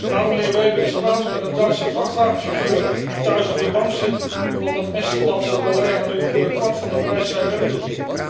Laat de heer Weber eens praten met een Duitse vrachtwagenchauffeur die thuis op de bank zit omdat een Estlandse collega nu voor een kwart van de prijs zijn werk doet.